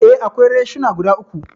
Eh, akwai reshina guda uku.